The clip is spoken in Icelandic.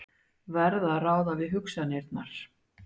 Verð að ráða við hugsanirnar.